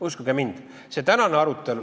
Uskuge mind.